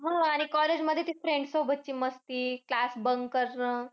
हो आणि college मध्ये ते friends सोबतची मस्ती. Class bunk करणं